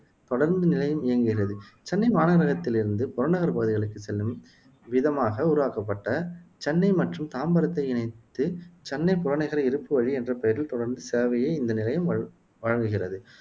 தொடருந்து நிலையம் இயங்குகிறது சென்னை மாநகரத்திலிருந்து புறநகர் பகுதிகளுக்கு செல்லும் விதமாக உருவாக்கப்பட்ட சென்னை மற்றும் தாம்பரத்தை இணைத்து சென்னை புறநகர் இருப்புவழி என்ற பெயரில் தொடருந்து சேவையை இந்த நிலையம் வ வழங்குகிறது